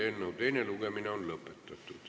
Eelnõu teine lugemine on lõpetatud.